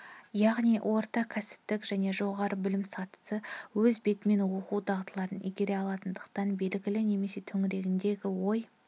яғни орта кәсіптік және жоғары білім сатысы-өз бетімен оқу дағдыларын игере алатындықтан белгілі мәселе төңірегінде ой